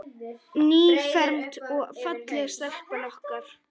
Nýfermd og falleg stelpan okkar.